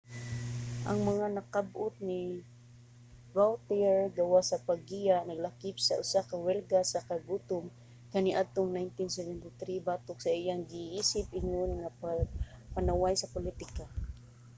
ang mga nakab-ot ni vautier gawas sa paggiya naglakip sa usa ka welga sa kagutom kaniadtong 1973 batok sa iyang giisip ingon nga pagpanaway sa politika